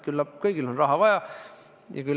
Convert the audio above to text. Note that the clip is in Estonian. Küllap kõigil on raha juurde vaja.